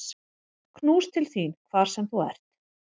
Knús til þín hvar sem þú ert.